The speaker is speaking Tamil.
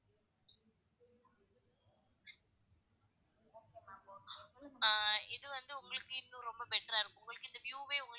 ஆஹ் இது வந்து உங்களுக்கு இது ரொம்ப better ரா இருக்கும் உங்களுக்கு இந்த view வே வந்து,